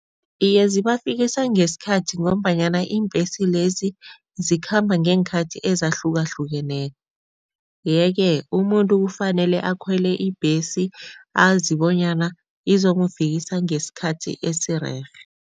Iye, zibafikisa ngesikhathi ngombanyana iimbhesi lezi zikhamba ngeenkhathi ezahlukahlukeneko yeke umuntu kufanele akhwele ibhesi azi bonyana izomufikisa ngesikhathi esirerhe.